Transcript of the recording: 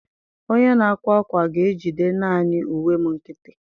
Onye na-akwa akwa ga-ejide naanị uwe m nkịtị.